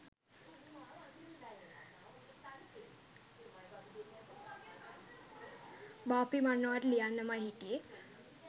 බාප්පි මන් ඔයාට ලියනනමයි හිටියේ